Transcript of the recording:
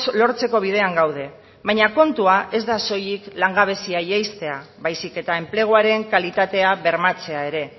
lortzeko bidean gaude baina kontua ez da soilik langabezia jaistea baizik eta enpleguaren kalitatea bermatzea ere